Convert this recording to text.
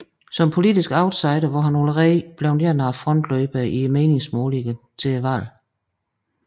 Som politisk outsider var han allerede blevet en af frontløberne i meningsmålingerne til valget